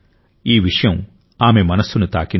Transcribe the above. ఈ విషయం ఆమె మనస్సును తాకింది